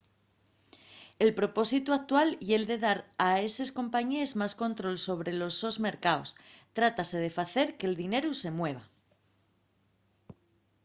el propósitu actual ye’l de dar a eses compañíes más control sobre los sos mercaos; trátase de facer que’l dineru se mueva